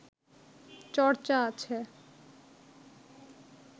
চর্চা আছে